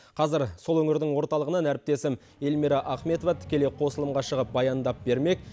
қазір сол өңірдің орталығынан әріптесім эльмира ахметова тікелей қосылымға шығып баяндап бермек